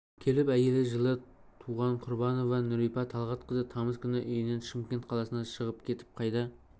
келіп әйелі жылы туған құрбанова нурипа талғатқызы тамыз күні үйінен шымкент қаласына шығып кетіп қайта